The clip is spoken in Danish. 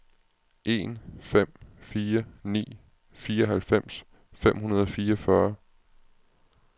en fem fire ni fireoghalvfems fem hundrede og fireogfyrre